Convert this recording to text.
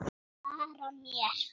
Bakki efstur blaði á.